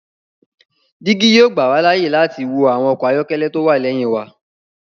Digi yoo gbà wa láàyè láti wo awọn ọkọ ayọkẹlẹ ti o wá lẹhin wà